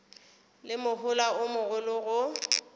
le mohola o mogolo go